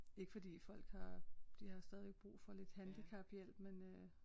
Ikke fordi folk har de har stadigvæk brug for lidt handicaphjælp men øh